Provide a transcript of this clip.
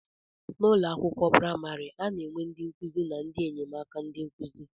N'ụlọ akwụkwọ praimari, a na-enwe ndị nkụzi na ndị enyemaka ndị nkụzi.